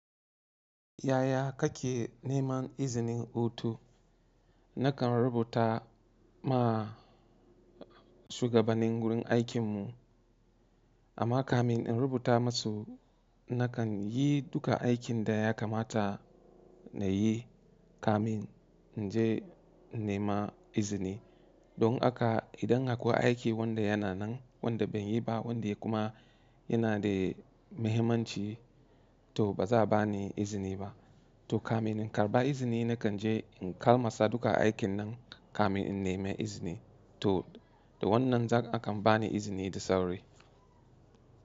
Yaya kake neman izinin hutu? Nakan rubuta ma shugabannin wurin aikinmu. Amma kamin in rubuta masu, nakan yi duka aikin da ya kamata na yi kamin in je in nema izini. Don haka idan haka akwai aiki wanda yana nan, wanda ban yi ba, wanda ya kuma yana da mahimmanci to ba za a ba ni izini ba. To kamin in karba izini, nakan je in kamala duka aikin nan kamin in nema izini. To da wannan a kan ba ni izini da sauri.